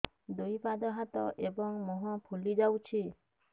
ଦୁଇ ପାଦ ହାତ ଏବଂ ମୁହଁ ଫୁଲି ଯାଉଛି